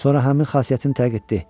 Sonra həmin xasiyyətini tərk etdi.